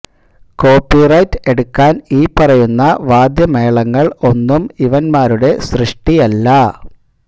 copy right എടുക്കാന് ഈ പറയുന്ന വാദ്യമേളങ്ങള് ഒന്നും ഇവന്മാരുടെ സൃഷ്ടി അല്ല